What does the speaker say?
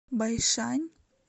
байшань